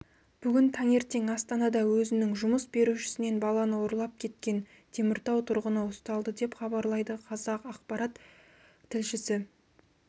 бүгін таңертең астанада өзінің жұмыс берушісінен баланы ұрлап кеткен теміртау тұрғыны ұсталды деп хабарлайды қазақпарат тілшісі